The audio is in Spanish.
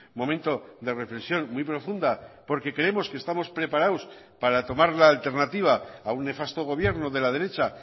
momento de reflexión muy profunda porque creemos que estamos preparados para tomar la alternativa a un nefasto gobierno de la derecha